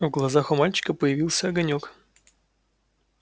в глазах у мальчика появился огонёк